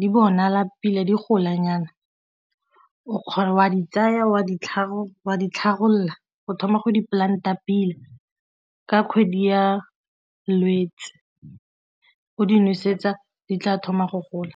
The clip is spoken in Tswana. di bonala pila di golanyana o a di tsaya o a di tlhabolola go thoma go di-plant-a pila ka kgwedi ya Lwetse o di nosetsa di tla thoma go gola.